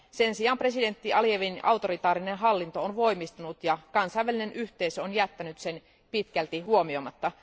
Sen sijaan presidentti Alijevin autoritaarinen hallinto on voimistunut ja kansainvälinen yhteisö on jättänyt sen pitkälti huomioimatta.